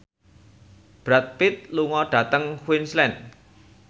Brad Pitt lunga dhateng Queensland